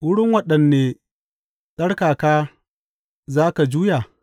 Wurin waɗanne tsarkaka za ka juya?